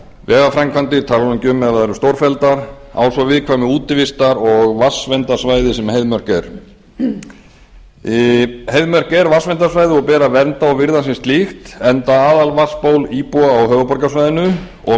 vegaframkvæmdir ég tala nú ekki um ef að þær eru stórfelldar á svo viðkvæmu útivistar og vatnsverndarsvæði sem heiðmörk er heiðmörk er vatnsverndarsvæði og ber að vernda og virða sem slíkt enda aðalvatnsból íbúa á höfuðborgarsvæðinu og